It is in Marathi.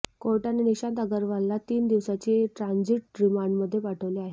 कोर्टाने निशांत अग्रवालला तीन दिवसाची ट्रांजिट रिमांडमध्ये पाठवले आहे